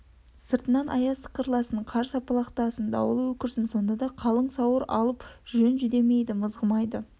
сыртынан аяз сықырласын қар сапалақтасын дауыл өкірсін сонда да қалың сауыр алып жон жүдемейді мызғымайды